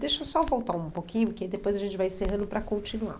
Deixa só eu voltar um pouquinho, que depois a gente vai encerrando para continuar.